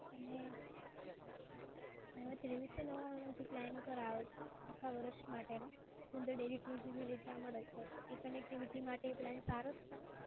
અને ત્રેવીસસો નવ્વાણુંનો જે plan કરાયો છે આખા વર્ષ માટેનો તો daily two gb data મળે છે. તો એ connectivity માટે એ plan સારો જ છે ને?